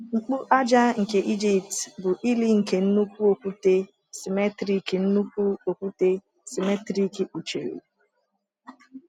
Mkpu aja nke Egypt bụ ili nke nnukwu okwute simmetrik nnukwu okwute simmetrik kpuchiri.